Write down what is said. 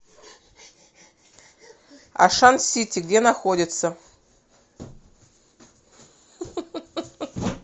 ашан сити где находится